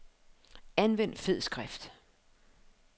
Anvend fed skrift.